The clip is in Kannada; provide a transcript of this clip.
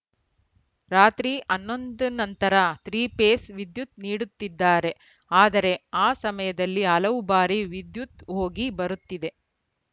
ರಾತ್ರಿ ಹನ್ನೊಂದರ ನಂತರ ತ್ರಿಪೇಸ್‌ ವಿದ್ಯುತ್‌ ನೀಡುತ್ತಿದ್ದಾರೆ ಆದರೆ ಆ ಸಮಯದಲ್ಲಿ ಹಲವು ಬಾರಿ ವಿದ್ಯುತ್‌ ಹೋಗಿ ಬರುತ್ತಿದೆ